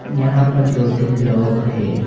यहां पर दो तीन लोग हैं।